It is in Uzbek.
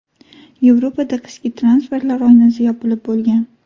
Yevropada qishki transferlar oynasi yopilib bo‘lgan.